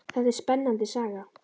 Þetta er spennandi saga.